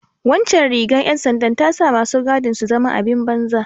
Waccan rigar ’yan sandar ta sa masu gadin su zama abin banza.